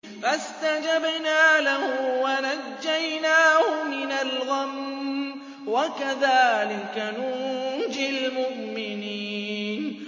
فَاسْتَجَبْنَا لَهُ وَنَجَّيْنَاهُ مِنَ الْغَمِّ ۚ وَكَذَٰلِكَ نُنجِي الْمُؤْمِنِينَ